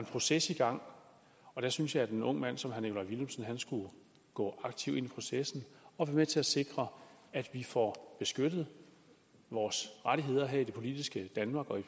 proces i gang og jeg synes at en ung mand som herre nikolaj villumsen skulle gå aktivt ind i processen og være med til at sikre at vi får beskyttet vores rettigheder her i det politiske danmark og i